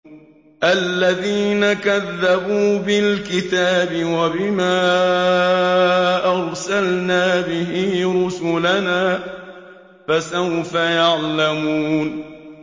الَّذِينَ كَذَّبُوا بِالْكِتَابِ وَبِمَا أَرْسَلْنَا بِهِ رُسُلَنَا ۖ فَسَوْفَ يَعْلَمُونَ